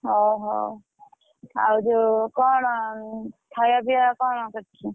ହଉ ହଉ ଆଉ ଯୋଉ କଣ ଖାଇଆ ପିଆ କଣ କରିଛୁ?